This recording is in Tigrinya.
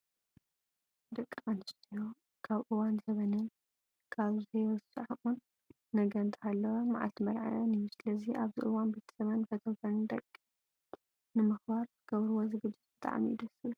ደቂ ኣንስትዮ ካብ እዋን ዘበነን ካብ ዘይርስዓዖ ነገር እንተሃለወ መዓልቲ መርዐዐን እዩ። ስለዚ ኣብዚ እዋን ቤተሰበን ፈተውተንን ንደቂ ኣንስትዮ ንምክባር ዝገብርዎ ዝግጅት ብጣዕሚ እዩ ደስ ዝብል።